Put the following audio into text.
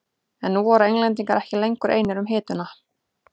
En nú voru Englendingar ekki lengur einir um hituna.